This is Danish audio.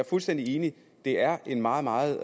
fuldstændig enig det er en meget meget